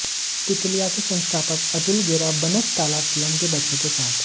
तितलियां के संस्थापक अतुल गेरा बनस तालाब स्लम के बच्चों के साथ